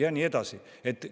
Ja nii edasi ja nii edasi.